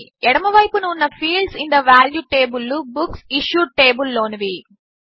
ఎడమ వైపున ఉన్న fields in the value table లు బుక్సిష్యూడ్ టేబుల్ లోనివి